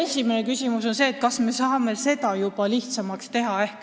Esimene küsimus ongi, kas me saame seda lihtsamaks teha.